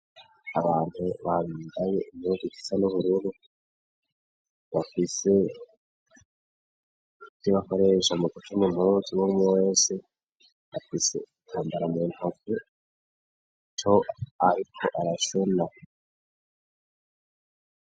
Abantu babidaye imugu igisa n'ubururu bafise iti bakoresha mu kuca mumturuzi womuwese bafise itambara mu ntuvu to, ariko arasuna.